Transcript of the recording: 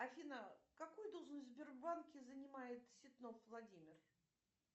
афина какую должность в сбербанке занимает ситнов владимир